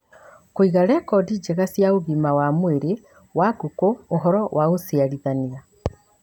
Kũiga rekondi njega cia ũgima wa mwĩrĩ wa ngũkũ, ũhoro wa ũciarithania